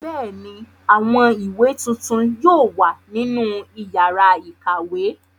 Bẹ́ẹ̀ ni, àwọn ìwé tuntun yóò wà nínú ìyàrá-ìkàwé.